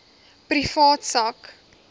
privaat sak